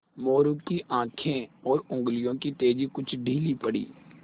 मोरू की आँखें और उंगलियों की तेज़ी कुछ ढीली पड़ी